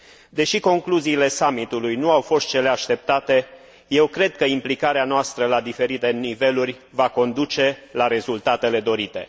Deși concluziile summitului nu au fost cele așteptate, eu cred că implicarea noastră la diferite niveluri va conduce la rezultatele dorite.